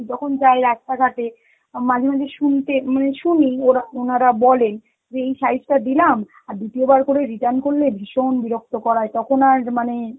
যখন যাই রাস্তাঘাটে অ মাঝে মাঝে শুনতে~ মানে শুনি ওরা~ উনারা বলেন যে এই size টা দিলাম আর দ্বিতীয়বার করে return করলে ভীষণ বিরক্ত করায়, তখন আর মানে